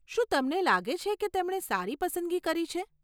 શું તમને લાગે છે કે તેમણે સારી પસંદગી કરી છે?